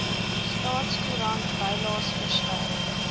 staatskoerant bylaes verskyn